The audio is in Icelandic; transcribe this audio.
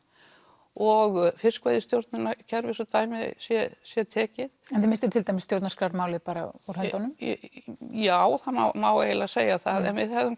og fiskveiðistjórnunarkerfi svo dæmi sé sé tekið en þið misstuð til dæmis stjórnarskrármálið bara úr höndunum já það má eiginlega segja það en við hefðum